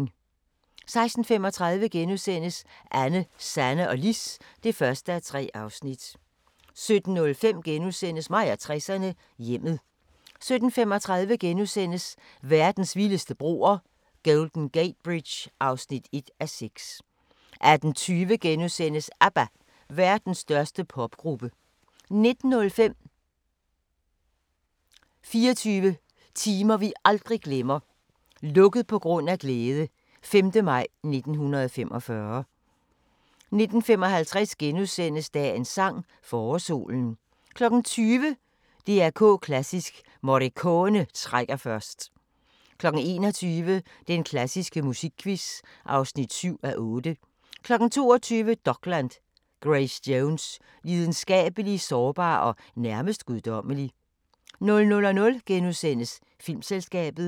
16:35: Anne, Sanne og Lis (1:3)* 17:05: Mig og 60'erne: Hjemmet * 17:35: Verdens vildeste broer – Golden Gate Bridge (1:6)* 18:20: ABBA – Verdens største popgruppe * 19:05: 24 timer vi aldrig glemmer: "Lukket på grund af glæde" – 5. maj 1945 19:55: Dagens sang: Forårssolen * 20:00: DR K Klassisk: Morricone trækker først 21:00: Den klassiske musikquiz (7:8) 22:00: Dokland: Grace Jones – Lidenskabelig, sårbar og nærmest guddommelig 00:00: Filmselskabet *